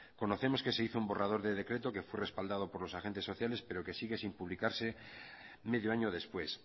conocemos que se hizo un borrador de decreto que fue respaldado por los agentes sociales pero que sigue sin publicarse medio año después